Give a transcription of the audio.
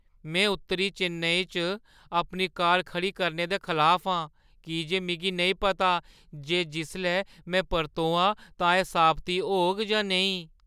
में उत्तरी चेन्नई च अपनी कार खड़ी करने दे खलाफ आं की जे मिगी नेईं पता जे जिसलै में परतोआं तां एह् साबती होग जां नेईं।